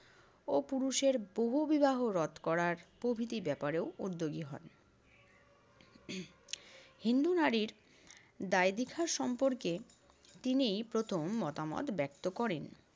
ও পুরুষের বহুবিবাহ রোধ করার প্রভৃতি ব্যাপারেও উদ্যোগী হন। হিন্দু নারীর দায়বিঘা সম্পর্কে তিনি প্রথম মতামত ব্যক্ত করেন।